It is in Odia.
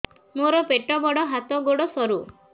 ମୋର ପେଟ ବଡ ହାତ ଗୋଡ ସରୁ